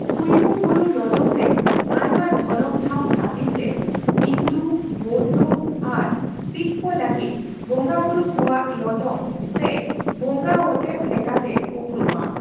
ᱠᱩᱞᱞᱩ ᱵᱩᱨᱩ ᱞᱚᱫᱚᱢ ᱨᱮ ᱟᱭᱢᱟ ᱫᱷᱚᱨᱚᱢ ᱴᱷᱟᱣ ᱠᱷᱟᱹᱛᱤᱨ ᱛᱮ ᱦᱤᱱᱫᱩ ᱵᱳᱣᱫᱷᱚ ᱟᱨ ᱥᱤᱠᱷ ᱠᱚ ᱞᱟᱹᱜᱤᱫ ᱵᱚᱸᱜᱟ ᱵᱩᱨᱩ ᱠᱚᱣᱟᱜ ᱞᱚᱫᱚᱢ ᱥᱮ ᱵᱚᱸᱜᱟ ᱚᱛᱮᱛ ᱞᱮᱠᱟᱛᱮ ᱩᱯᱨᱩᱢᱟ ᱾